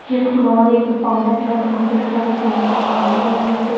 ये फूलों वाली एक दुकान हैजहां पर मुखतलीफ़ किस्म के फूलों के हार लगे हुए हैं।